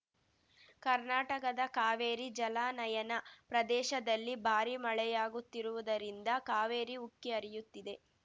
ಕರ್ನಾಟಕದ ಕಾವೇರಿ ಜಲಾನಯನ ಪ್ರದೇಶದಲ್ಲಿ ಭಾರಿ ಮಳೆಯಾಗುತ್ತಿರುವುದರಿಂದ ಕಾವೇರಿ ಉಕ್ಕಿ ಹರಿಯುತ್ತಿದೆ